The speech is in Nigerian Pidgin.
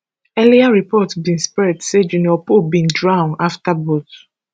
earlier report bin spread say junior pope bin drown afta boat